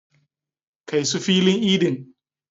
Kai su filin idin.